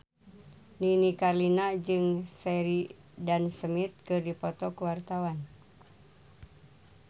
Nini Carlina jeung Sheridan Smith keur dipoto ku wartawan